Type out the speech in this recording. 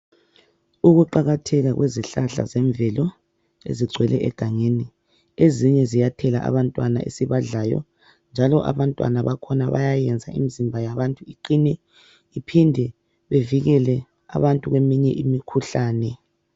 Ukuqakatheka kwezihlahla zemvelo ezigcwele egangeni .Ezinye ziyathela abantwana esibadlayo .Njalo abantwana bakhona bayenza imzimba yabantu iqine iphinde bevikele abantu kweminye imikhuhlane.